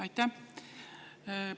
Aitäh!